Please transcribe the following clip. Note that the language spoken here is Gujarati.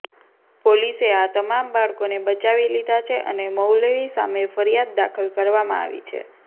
પોલીસે આ તમામ બાળકોને બચાવી લીધાં છે અને મૌલવી સામે ફરિયાદ દાખલ કરવામાં આવી છે